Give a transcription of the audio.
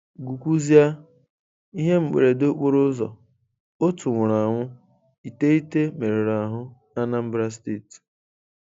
GỤKWUAZỊA: Ihe mberede okporo ụzọ: otu nwụrụ anwụ, iteghete meruru ahụ n'Anambra Steeti.